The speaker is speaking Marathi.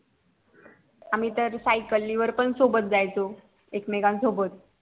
आम्ही सायकलीवर पण सोबत जायचो एकमेकान सोबत